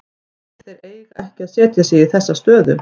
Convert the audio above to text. Þeir eiga ekki að setja sig í þessa stöðu.